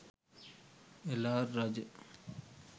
එළාර රජු